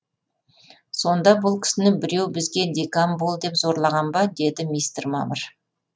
сонда бұл кісіні біреу бізге декан бол деп зорлаған ба деді мистер мамыр